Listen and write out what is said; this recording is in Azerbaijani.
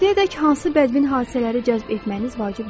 İndiyədək hansı bədmin hadisələri cəzb etməyiniz vacib deyil.